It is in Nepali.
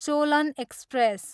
चोलन एक्सप्रेस